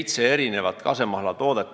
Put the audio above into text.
Turule on toodud seitse kasemahlatoodet.